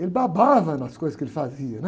Ele babava nas coisas que ele fazia, né?